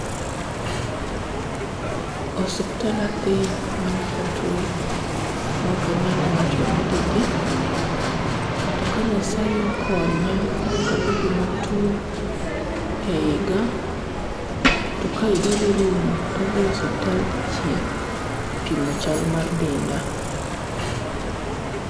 Osuptal adhi mana katuo mokanyal wacho ni di di. To ka Nyasaye okonya mokabedo matuo e higa, to ka higa dhi rumo to adhi osuptal dichiel, pimo chal mar denda.